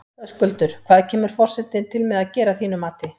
Höskuldur, hvað kemur forsetinn til með að gera að þínu mati?